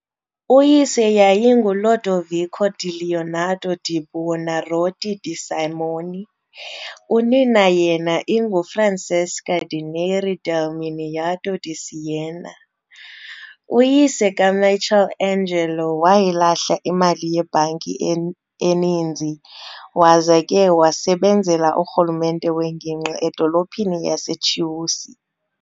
Uyise yayinguLodovico di Leonardo di Buonarroti di Simoni, unina yena inguFrancesca di Neri del Miniato di Siena. Uyise kaMichelangelo wayilahla imali yebhanki eninzi, waza ke wasebenzela urhulumente wengingqi edolophini yaseChiusi.